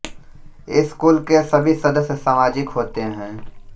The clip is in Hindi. इस कुल के सभी सदस्य सामाजिक होते हैं